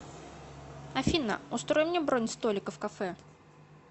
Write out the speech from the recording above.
афина устрой мне бронь столика в кафе